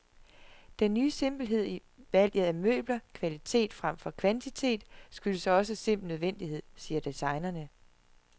Den ny simpelhed i valget af møbler, kvalitet fremfor kvantitet, skyldes også simpel nødvendighed, siger designerne.